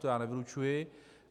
To já nevylučuji.